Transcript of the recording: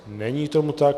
Není tomu tak.